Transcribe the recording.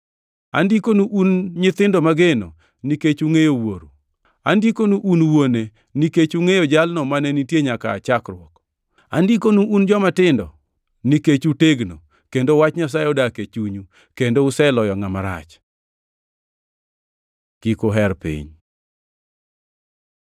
Andikonu un nyithindo mageno nikech ungʼeyo Wuoro. Andikonu un wuone, nikech ungʼeyo Jalno mane nitie nyaka aa chakruok. Andikonu un jomatindo, nikech utegno, kendo wach Nyasaye odak e chunyu, kendo useloyo ngʼama rach. Kik uher piny